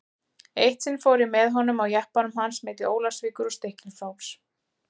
Eitt sinn fór ég með honum á jeppanum hans milli Ólafsvíkur og Stykkishólms.